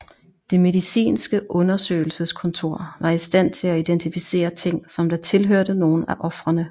Det medicinske undersøgelseskontor var i stand til at identificere ting som der tilhørte nogen af ofrene